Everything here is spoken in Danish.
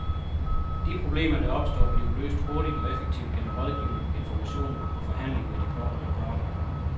De problemer, der opstår, bliver løst hurtigt og effektivt gennem rådgivning, information og forhandling med de berørte parter.